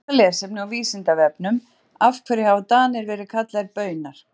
Frekara lesefni á Vísindavefnum Af hverju hafa Danir verið kallaðir Baunar?